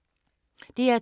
DR2